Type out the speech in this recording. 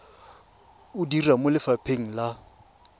o dira mo lefapheng la